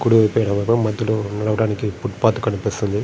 కుడివైపు ఎవరో మధ్యలో నడవడానికి ఫుట్ పాత్ కనిపిస్తుంది.